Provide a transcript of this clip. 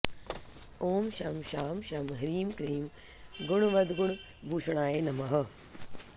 ॐ शं शां षं ह्रीं क्लीं गुणवद्गुणभूषणाय नमः